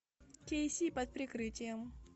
кей си под прикрытием